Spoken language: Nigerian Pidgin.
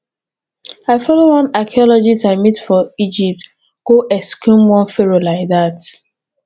i follow one archeologist i meet for egypt go exhume one pharoah like dat